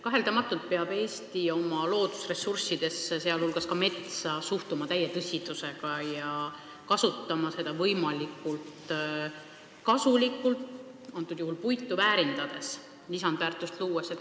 Kaheldamatult peab Eesti oma loodusressurssidesse, sh metsa suhtuma täie tõsidusega ja kasutama seda võimalikult suure kasuga ehk siis puitu väärindades, lisandväärtust luues.